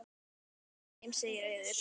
Mæli með þeim, segir Auður.